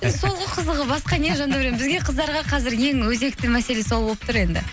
сол ғой қызығы басқа не жандәурен бізге қыздарға қазір ең өзекті мәселе сол болып тұр енді